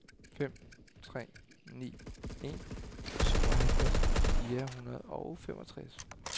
fem tre ni en syvoghalvtreds fire hundrede og femogtres